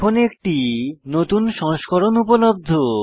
এখন একটি নতুন সংস্করণ উপলব্ধ